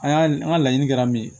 A y'a n ka laɲini kɛra min ye